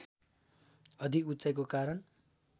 अधिक उचाइको कारण